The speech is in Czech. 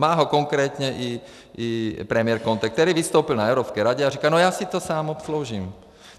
Má ho konkrétně i premiér Conte, který vystoupil na Evropské radě a říkal: no já si to sám obsloužím.